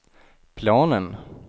planen